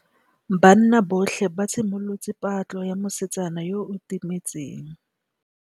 Banna botlhê ba simolotse patlô ya mosetsana yo o timetseng.